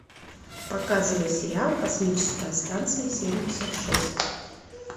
показывай сериал космическая станция семьдесят шесть